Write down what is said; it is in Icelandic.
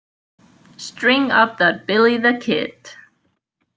String up that Billy the Kid!